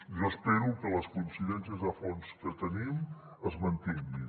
jo espero que les coincidències de fons que tenim es mantinguin